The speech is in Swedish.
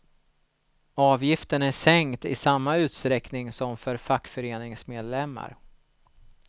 Avgiften är sänkt i samma utsträckning som för fackföreningsmedlemmar.